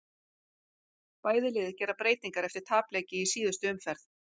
Bæði lið gera breytingar eftir tapleiki í síðustu umferð.